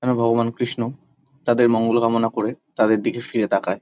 যেন ভগবান কৃষ্ণ তাদের মঙ্গল কামনা করে তাদের দিকে ফিরে তাকায়।